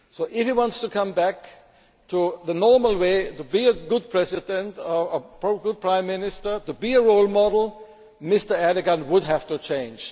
If he wants to come back to the normal way to be a good president, a good prime minister, to be a role model Mr Erdoğan will have to change.